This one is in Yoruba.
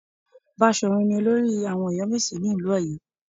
Baṣọ̀run ni olórí àwọn Ọ̀yọ́mèsì ní ìlú Ọ̀yọ́